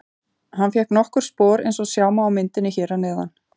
Hann fékk nokkur spor eins og sjá má á myndinni hér að neðan.